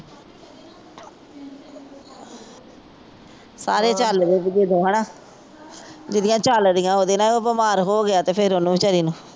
ਸਾਰੇ ਝੱਲਦੇ ਦੀਦੀ ਉਦੋਂ ਹੈਨਾ। ਜਿਹਦੀਆਂ ਝੱਲਦੀਆਂ ਉਹਦੇ ਨਾਲ ਬੀਮਾਰ ਹੋ ਗਿਆ ਤੇ ਫੇਰ ਉਹਨੂੰ ਵਿਚਾਰੀ ਨੂੰ।